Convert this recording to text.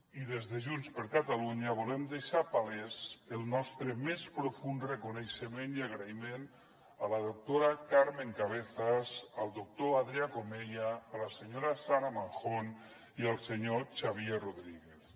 i des de junts per catalunya volem deixar palès el nostre més profund reconeixement i agraïment a la doctora carmen cabezas al doctor adrià comella a la senyora sara manjón i al senyor xavier rodríguez